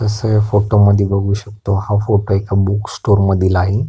तस ह्या फोटो मध्ये बघू शकतो हा फोटो एका बूक स्टोर मधील आहे.